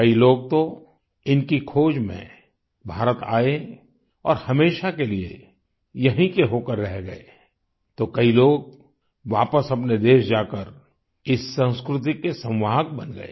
कई लोग तो इनकी खोज में भारत आए और हमेशा के लिए यहीं के होकर रह गए तो कई लोग वापस अपने देश जाकर इस संस्कृति के संवाहक बन गए